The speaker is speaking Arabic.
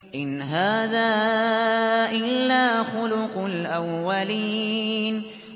إِنْ هَٰذَا إِلَّا خُلُقُ الْأَوَّلِينَ